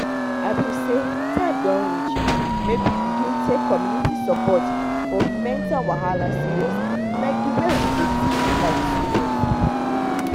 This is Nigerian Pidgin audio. i been say time don reach make we begin take community support for mental wahala serious like the way we dey take life serious